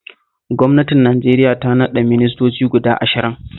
Gwamnatin Najeriya ta naɗa ministoci guda ashirin